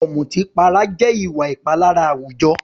Ọ̀mùtípara jẹ́ ìwà ìpalára àwùjọ.